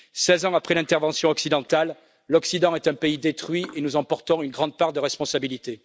Seize ans après l'intervention occidentale, l'Occident est un pays détruit, et nous en portons une grande part de responsabilité.